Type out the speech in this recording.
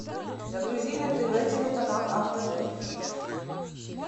загрузи на тв телеканал авто плюс